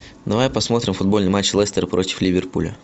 давай посмотрим футбольный матч лестера против ливерпуля